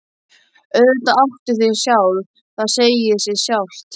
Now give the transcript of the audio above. Auðvitað áttu þig sjálf, það segir sig sjálft.